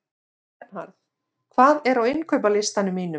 Bernharð, hvað er á innkaupalistanum mínum?